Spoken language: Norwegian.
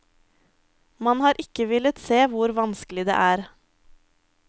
Man har ikke villet se hvor vanskelig det er.